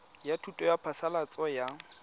ya thuso ya phasalatso ya